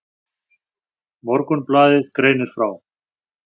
Morgunblaðið greinir frá.